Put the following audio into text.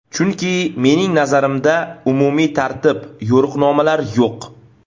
Chunki, mening nazarimda, umumiy tartib, yo‘riqnomalar yo‘q.